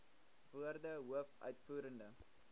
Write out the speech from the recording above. woorde hoof uitvoerende